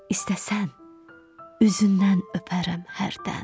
İstərsən, üzündən öpərəm hərdən.